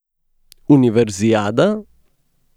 Univerzijada?